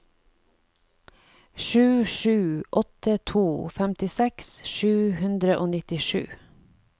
sju sju åtte to femtiseks sju hundre og nittisju